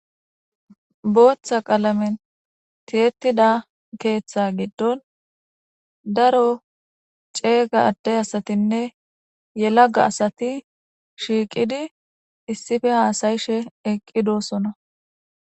booththa qalamen tiyettida keeththa giddon daro ceega adde asatinne yelaga asati shiiqidi issife haasayishe eqqidosona